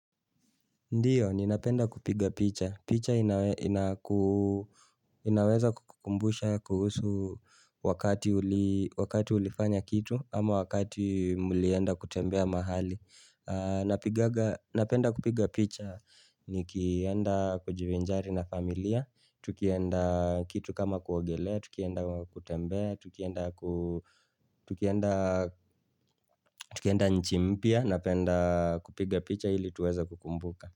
Ndiyo, ninapenda kupiga picha. Picha inaweza kukumbusha kuhusu wakati ulifanya kitu, ama wakati mulienda kutembea mahali. Napenda kupiga picha, nikienda kujivinjari na familia, tukienda kitu kama kuogelea, tukienda kutembea, tukienda nchi mpya, napenda kupiga picha ili tuweze kukumbuka.